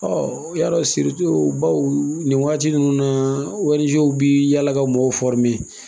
o y'a dɔn baw nin waati ninnu na bɛ yala ka mɔgɔw